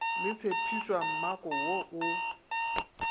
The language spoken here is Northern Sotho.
le tshephišwa mmako wo o